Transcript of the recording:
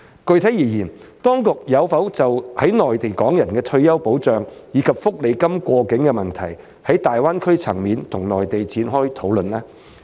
具體而言，當局有否就在內地港人的退休保障，以及福利金過境的問題，在大灣區層面與內地展開討論呢？